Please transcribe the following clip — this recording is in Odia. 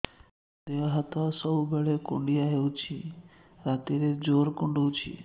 ଦେହ ହାତ ସବୁବେଳେ କୁଣ୍ଡିଆ ହଉଚି ରାତିରେ ଜୁର୍ କୁଣ୍ଡଉଚି